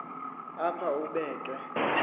apha ube ke